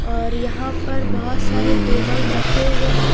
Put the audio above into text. और यहाँ पर बहुत सारे टेबल रखे हुए है।